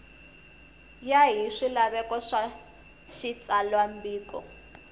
ya hi swilaveko swa xitsalwambiko